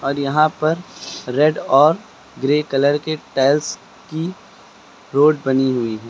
और यहां पर रेड और ग्रे कलर के टाइल्स की रोड बनी हुई है।